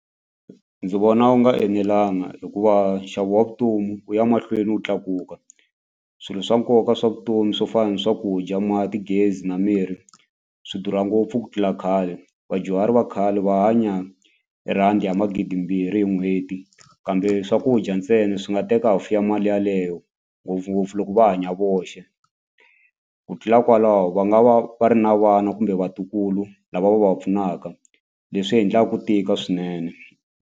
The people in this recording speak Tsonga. Ndzi vona wu nga enelanga hikuva nxavo wa vutomi wu ya mahlweni wu tlakuka swilo swa nkoka swa vutomi swo fana ni swakudya mati gezi na mirhi swi durha ngopfu ku tlula khale vadyuhari va khale va hanya hi rhandi ya magidimbirhi hi n'hweti kambe swakudya ntsena swi nga teka half ya mali yaleyo ngopfungopfu loko va hanya voxe ku tlula kwalaho va nga va va ri na vana kumbe vatukulu lava va va va pfunaka leswi endla ku tika swinene.